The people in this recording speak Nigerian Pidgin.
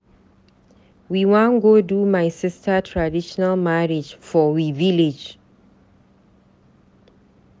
We wan go do my sister traditional marriage for we village.